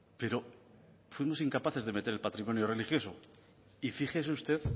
pero fuimos incapaces de meter el patrimonio religioso y fíjese usted